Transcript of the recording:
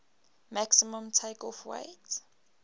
maximum takeoff weight